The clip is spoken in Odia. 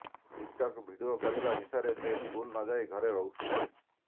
ଟିକ୍ଟକ୍ ଭିଡିଓ କରିବା ନିଶାରେ ସେ ସ୍କୁଲ ନଯାଇ ଘରେ ରହୁଥିଲେ